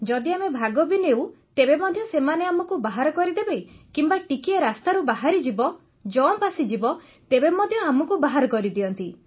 ଯଦି ଆମେ ଭାଗ ବି ନେଉ ତେବେ ମଧ୍ୟ ସେମାନେ ଆମକୁ ବାହାର କରିଦେବେ କିମ୍ବା ଟିକିଏ ରାସ୍ତାରୁ ଯଦି ବାହାରିଯିବ ଜମ୍ପ୍ ଆସିଯିବ ତେବେ ମଧ୍ୟ ଆମକୁ ବାହାର କରିଦିଅନ୍ତି